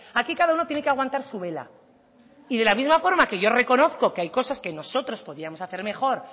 aquí cada uno tiene que aguantar su vela y de la misma forma que yo reconozco que hay cosas que nosotros podíamos hacer mejor